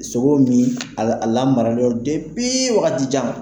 Sogo min a lamaralen don waatijan.